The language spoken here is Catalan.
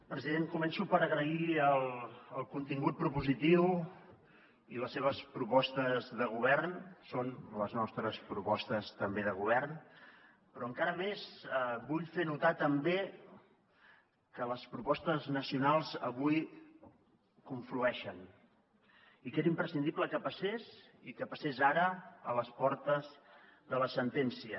president començo per agrair el contingut propositiu i les seves propostes de govern són les nostres propostes també de govern però encara més vull fer notar també que les propostes nacionals avui conflueixen i que era imprescindible que passés i que passés ara a les portes de la sentència